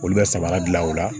Olu bɛ samara dilan o la